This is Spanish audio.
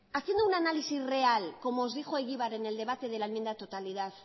haciendo un análisis real como os dijo egibar en el debate de la enmienda a la totalidad